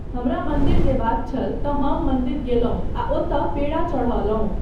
हमरा मन्दिर जयबाक छल तँ हम मन्दिर गेलहुँ आ ओतय पेड़ा चढ़ौलहुँ।